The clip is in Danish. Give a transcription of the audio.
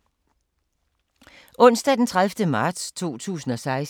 Onsdag d. 30. marts 2016